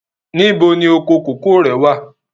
Níbo ni oko kòkó rẹ̀ wà?